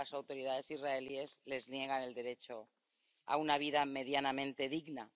porque las autoridades israelíes les niegan el derecho a una vida medianamente digna.